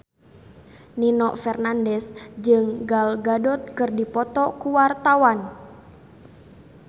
Nino Fernandez jeung Gal Gadot keur dipoto ku wartawan